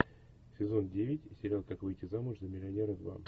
сезон девять сериал как выйти замуж за миллионера два